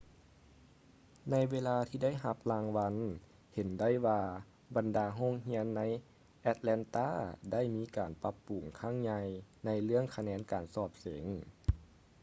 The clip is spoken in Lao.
ໃນເວລາທີ່ໄດ້ຮັບລາງວັນ ເຫັນໄດ້ວ່າ ບັນດາໂຮງຮຽນໃນ ແອັດແລນຕາ atlanta ໄດ້ມີການປັບປຸງຄັ້ງໃຫຍ່ໃນເລື່ອງຄະແນນການສອບເສັງ